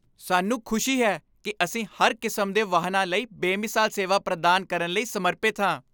ਸਾਨੂੰ ਖੁਸ਼ੀ ਹੈ ਕਿ ਅਸੀਂ ਹਰ ਕਿਸਮ ਦੇ ਵਾਹਨਾਂ ਲਈ ਬੇਮਿਸਾਲ ਸੇਵਾ ਪ੍ਰਦਾਨ ਕਰਨ ਲਈ ਸਮਰਪਿਤ ਹਾਂ।